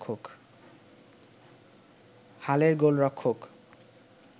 হালের গোলরক্ষক